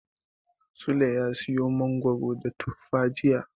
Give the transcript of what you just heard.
Sule ya siyo mangoro da tufa jiya.